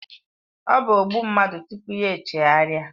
Ọ bụ ogbu mmadụ tupu ya chegharịa